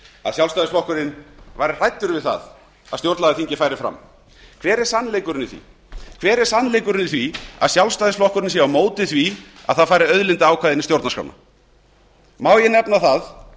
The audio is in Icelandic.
að sjálfstæðisflokkurinn væri hræddur við það að stjórnlagaþingið færi fram hver er sannleikurinn í því hver er sannleikurinn í því að sjálfstæðisflokkurinn sé á móti því að það fari auðlindaákvæði inn í stjórnarskrána má ég nefna það